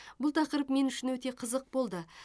бұл тақырып мен үшін өте қызық болды